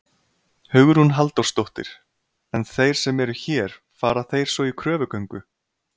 Hugrún Halldórsdóttir: En þeir sem eru hér, fara þeir svo í kröfugöngu?